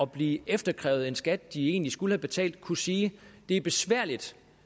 blive efteropkrævet en skat de egentlig skulle have betalt kunne sige det er besværligt